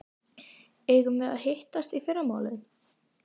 Eigum við að hittast í fyrramálið?